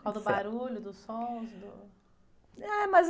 Por causa do barulho, dos sons? Do..., mas...